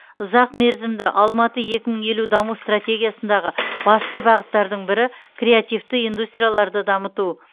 ұзақ мерзімді алматы екі мың елу даму стратегиясындағы басты бағыттардың бірі креативті индустрияларды дамыту